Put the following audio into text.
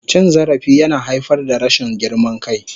Cin zarafi yana haifar da rashin girman kai.